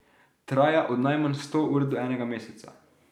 Traja od najmanj sto ur do enega meseca.